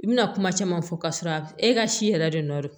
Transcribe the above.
I bɛna kuma caman fɔ k'a sɔrɔ a e ka si yɛrɛ de nɔɔrɔri